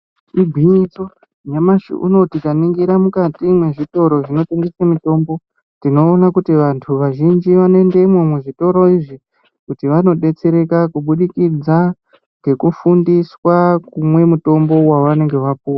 Igwinyiso, nyamashi unowu tikaningira mukati mwezvitoro zvinotengese mitombo tinoona kuti vantu vazhinji vanoendemwo muzvitoro izvi kuti vanodetsereka kubudikidza ngekufundiswa kumwe mutombo wavanenge vapuwa.